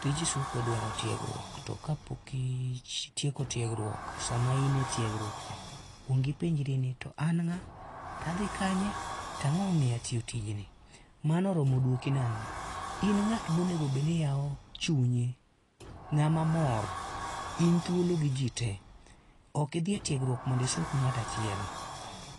Tij suko dwaro tiegruok to ka pok itieko tiegruok, sama in e tiegruokcha kuong ipenjri ni to an ng'a to adhi kanye, to ang'o momiyo atiyo tijni. Mano oromo duoki nang'o, in ng'at ma onego bed ni yawo chunye, ng'ama mamor. In thuolo gi ji tee. Ok idhi e tiegruok mondo isuk ng'ato achiel,